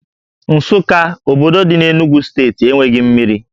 Nsukka, obodo dị n'Enugwu steeti enweghị mmiri